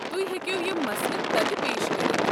تُہۍ ہیٚکو یم مسلہٕ تتہِ پیش كرِتھ۔